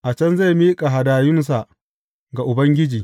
A can zai miƙa hadayunsa ga Ubangiji.